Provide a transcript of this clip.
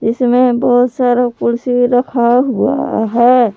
इसमें बहुत सारा कुर्सी रखा हुआ है।